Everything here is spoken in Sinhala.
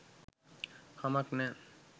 කමක් නෑ